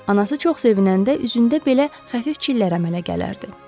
Anası çox sevinəndə üzündə belə xəfif çillər əmələ gələrdi.